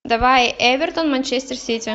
давай эвертон манчестер сити